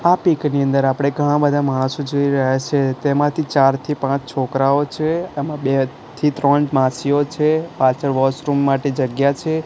આ પીક ની અંદર આપણે ઘણા બધા માણસો જોઈ રહ્યા છે તેમાંથી ચારથી પાંચ છોકરાઓ છે એમાં બે થી ત્રણ માસીઓ છે પાછળ વોશરૂમ માટે જગ્યા છે.